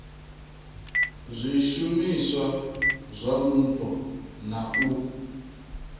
zwishumiswa zwa mupo na u